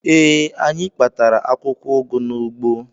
Ee, anyị kpatara akwụkwọ ụgụ n'ugbo